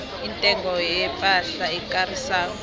intengo yepahla ekarisako